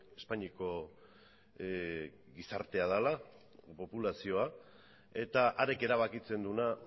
espainiako gizartea dala populazioa eta harek erabakitzen duena